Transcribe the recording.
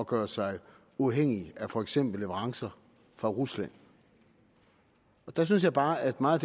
gøre sig uafhængig af for eksempel leverancer fra rusland der synes jeg bare at meget